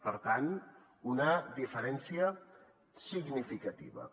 per tant una diferència significativa